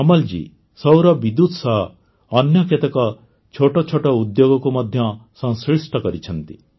କମଲ ଜୀ ସୌର ବିଦ୍ୟୁତ ସହ ଅନ୍ୟ କେତେକ ଛୋଟ ଛୋଟ ଉଦ୍ୟୋଗକୁ ମଧ୍ୟ ସଂଶ୍ଳିଷ୍ଟ କରିଛନ୍ତି